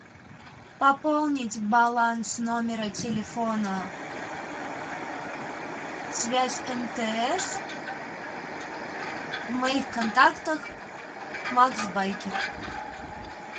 пополнить баланс номера телефона связь мтс в моих контактах макс байкер